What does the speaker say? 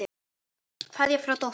Kveðja frá dóttur.